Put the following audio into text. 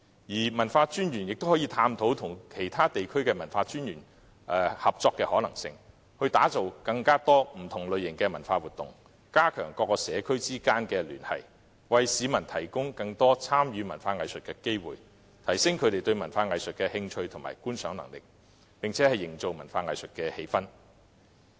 各區文化專員亦可探討與其他地區合作的可能性，打造更多不同類型的文化活動，加強社區之間的聯繫，為市民提供更多參與文化藝術的機會，提升他們對文化藝術的興趣及觀賞能力，並營造文化藝術的氣氛。